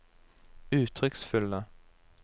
uttrykksfulle